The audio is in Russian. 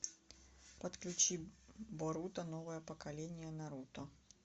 подключи боруто новое поколение наруто